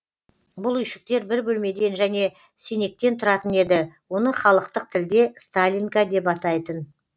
бұл үйшіктер бір бөлмеден және сенектен тұратын еді оны халықтық тілде сталинка деп атайтын